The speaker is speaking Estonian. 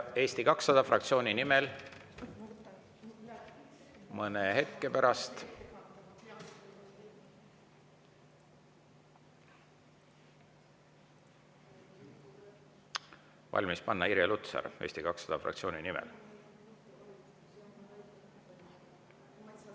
Eesti 200 fraktsiooni nimel mõne hetke pärast valmis panna Irja Lutsaril.